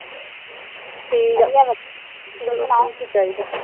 ਠੀਕ ਵਧੀਆ-ਵਧੀਆ, ਤੂੰ ਸੁਣਾ